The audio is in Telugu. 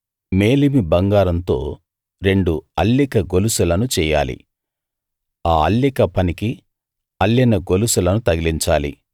మేలిమి బంగారంతో రెండు అల్లిక గొలుసులను చెయ్యాలి ఆ అల్లిక పనికి అల్లిన గొలుసులను తగిలించాలి